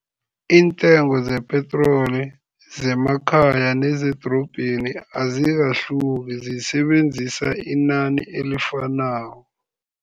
Iintengo zepetroli zemakhaya nezedorobheni azikahluki, zisebenzisa inani elifanako.